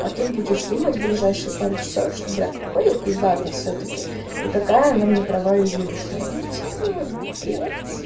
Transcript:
а ты будешь думать ближайшие пару часов что для какой я пиздатый всё-таки и какая она не права и уёбищная ну типа блядь